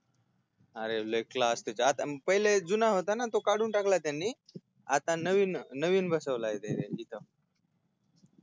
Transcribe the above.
अरे लय CLASS त्यात पहिला जुना होता ना तो काढून टाकला त्यांनी आता नविन नविनबसविलाय तिथ